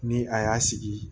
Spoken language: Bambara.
Ni a y'a sigi